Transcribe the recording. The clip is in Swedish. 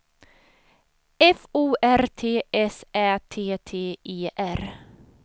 F O R T S Ä T T E R